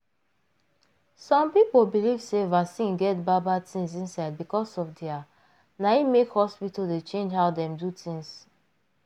some people believe sey vaccine get bad bad things inside because of their na it make hospital dey change how dem do things.